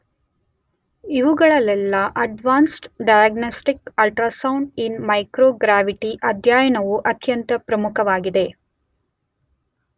ಇವುಗಳಲೆಲ್ಲ advanced diagnostic ultrasound in microgravity ಅಧ್ಯಯನವು ಅತ್ಯಂತ ಪ್ರಮುಖವಾಗಿದೆ.